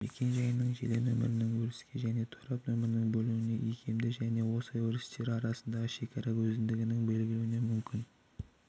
мекен-жайының желі нөмірінің өріске және торап нөміріне бөлінуі икемді және осы өрістер арасындағы шекара өздігінен белгіленуі мүмкін